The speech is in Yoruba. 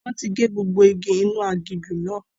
Wọn tí gé gbogbo igi inú aginjù náà.